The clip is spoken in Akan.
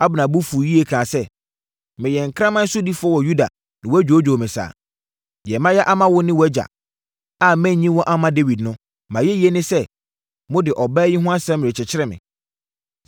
Abner bo fuu yie kaa sɛ, “Meyɛ nkraman sodifoɔ wɔ Yuda na wɔadwoodwoo me saa? Deɛ mayɛ ama wo ne wʼagya, a mannyi mo amma Dawid no, mʼayɛyie ne sɛ, mode ɔbaa yi ho asɛm rekyekyere me?